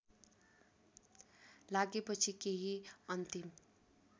लागेपछि केही अन्तिम